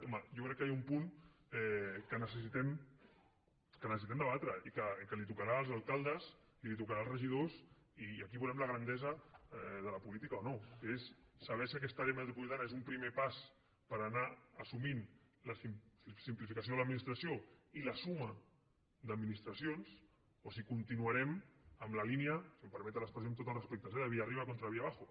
home jo crec que hi ha un punt que necessitem debatre i que tocarà als alcaldes i tocarà als regidors i aquí veurem la grandesa de la política o no que és saber si aquesta àrea metropolitana és un primer pas per anar assumint simplificació de l’administració i la suma d’administracions o si continuarem en la línia si em permeten l’expressió amb tots els respectes de villarriba contra villabajo